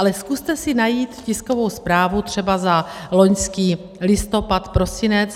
Ale zkuste si najít tiskovou zprávu třeba za loňský listopad, prosinec.